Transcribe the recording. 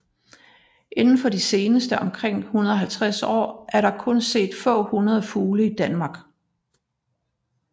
Indenfor de seneste omkring 150 år er der kun set få hundrede fugle i Danmark